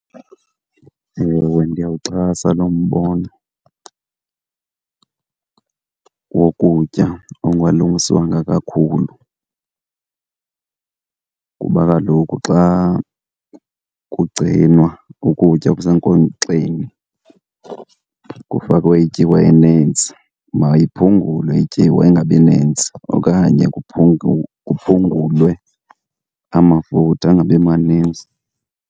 Ewe, ndiyawuxhasa lo mbono wokutya okungalungiswanga kakhulu, kuba kaloku xa kugcinwa ukutya kusenkonkxeni kufakwe ityiwa enintsi. Mayiphungulwe ityiwa ingabi nintsi okanye kuphungulwe amafutha angabi manintsi.